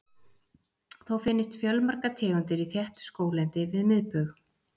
Þó finnast fjölmargar tegundir í þéttu skóglendi við miðbaug.